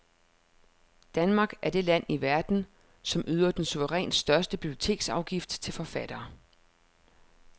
Danmark er det land i verden, som yder den suverænt største biblioteksafgift til forfattere.